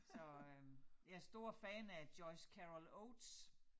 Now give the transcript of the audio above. Så øh jeg stor fan af Joyce Carol Oates